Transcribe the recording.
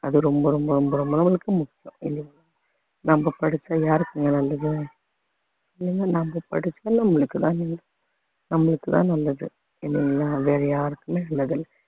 அது ரொம்ப ரொம்ப ரொம்ப ரொம்ப நம்மளுக்கு முக்கியம் இல்லைங்களா நம்ம படிச்சா யாருக்குங்க நல்லது இல்லைங்களா நம்ம படிச்சா நம்மளுக்குதா நம்மளுக்குதா தான் நல்லது இல்லைங்களா வேற யாருக்குமே நல்லது இல்லை